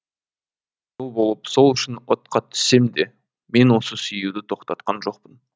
қызыл болып сол үшін отқа түссем де мен оны сүюді тоқтатқан жоқпын